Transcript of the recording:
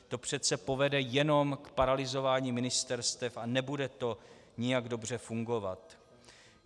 To přece povede jenom k paralyzování ministerstev a nebude to nijak dobře fungovat.